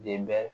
Denba